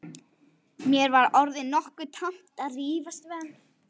Mér var orðið nokkuð tamt að rífast við hann.